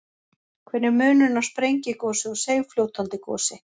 Hver er munurinn á sprengigosi og seigfljótandi gosi?